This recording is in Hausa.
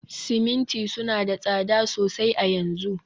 siminti suna da tsada sosai a yanzu